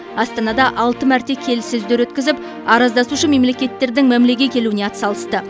астанада алты мәрте келіссөздер өткізіп араздасушы мемлекеттердің мәмілеге келуіне атсалысты